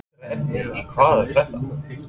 Eldra efni í Hvað er að frétta?